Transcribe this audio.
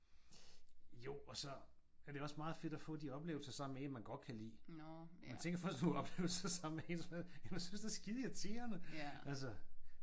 Jo og så er det også meget fedt at få de oplevelser sammen med en man godt kan lide. Men tænk at få sådan nogle oplevelser sammen med en som man synes er skideirriterende altså